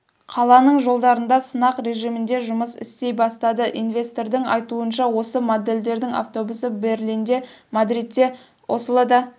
қаланың жолдарында сынақ режимінде жұмыс істей бастады инвестордың айтуынша осы модельдердің автобусы берлинде мадридте ослода